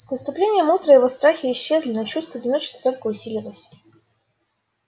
с наступлением утра его страхи исчезли но чувство одиночества только усилилось